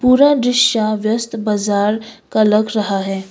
पूरा दृश्या व्यस्त बाजार का लग रहा है।